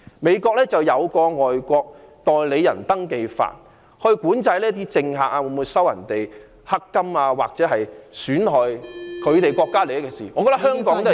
美國有《外國代理人登記法》，管制政客會否收取"黑金"或做出損害國家利益的事......